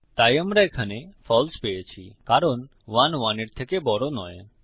তাই আমরা এখানে ফালসে পেয়েছি কারণ ১ ১ এর থেকে বড় নয়